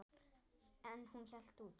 En hún hélt út.